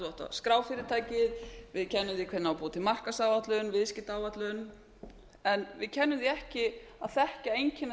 skrá fyrirtækið við kennum því hvernig á að búa til markaðsáætlun viðskiptaáætlun en við kennum því ekki að þekkja einkenni